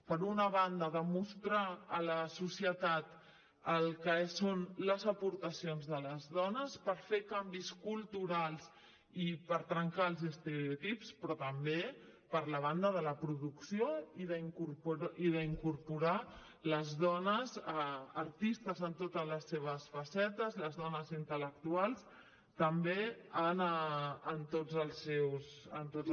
per una banda demostrar a la societat el que són les aportacions de les dones per fer canvis culturals i per trencar els estereotips però també per la banda de la producció i d’incorporar les dones artistes en totes les seves facetes les dones intel·lectuals també en tots els seus punts